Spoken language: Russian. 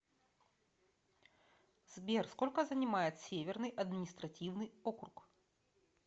сбер сколько занимает северный административный округ